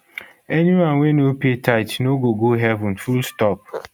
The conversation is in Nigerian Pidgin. anyone wey no pay tithe no go go heaven fullstop